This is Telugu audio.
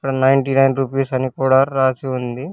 నైంటీ నైన్ రూపీస్ అని కూడా రాసి ఉంది.